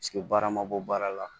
baara ma bɔ baara la